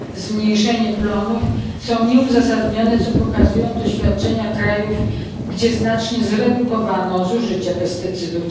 zmniejszenie plonów są nieuzasadnione, co pokazują doświadczenia krajów, gdzie znacznie zredukowano zużycie pestycydów.